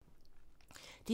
DR1